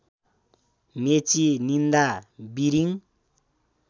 मेची निन्दा बिरिङ